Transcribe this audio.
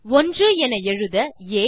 1 என எழுத ஆ